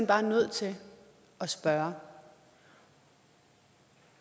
bare nødt til at spørge